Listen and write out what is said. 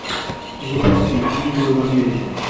запусти ангелы в америке